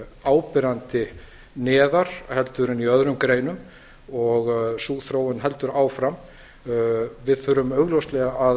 áberandi neðar en í öðrum greinum og sú þróun heldur áfram við þurfum augljóslega að